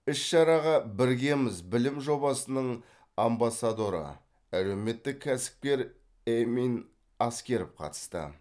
іс шараға біргеміз білім жобасының амбассадоры әлеуметтік кәсіпкер эмин аскеров қатысты